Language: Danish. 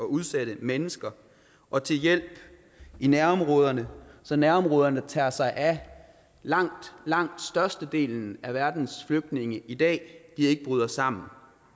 udsatte mennesker og til hjælp i nærområderne så nærområderne der tager sig af langt langt størstedelen af verdens flygtninge i dag ikke bryder sammen